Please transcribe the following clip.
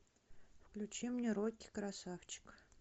включи мне рокки красавчик